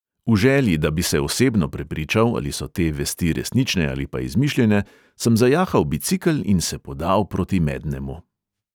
V želji, da bi se osebno prepričal, ali so te vesti resnične ali pa izmišljene, sem zajahal bicikel in se podal proti mednemu.